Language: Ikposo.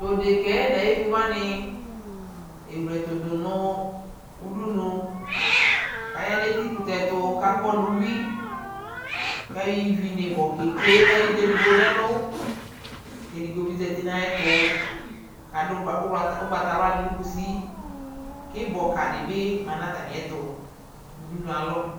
tʋɛdɛkaɛ nʋayɛvi wani ɛwlɛtʋ dʋnʋ ʋdʋnʋ kʋ aya nʋ ɛti kʋtɛ tʋ kʋ akɔ nʋ ʋwi kʋ ayɔ ivi nʋ ɛbɔ kɛtwɛ nʋ ayi dza ɛdigbɔ nʋ ɛlʋ kʋ ɛdigbɔ bi zati nʋ ayɛtʋ kʋ adʋ ɔgbatawla dinʋ kʋsi, ibɔ ka dibi manʋ atani ɛtʋ nʋ ʋdʋnʋɛ alɔ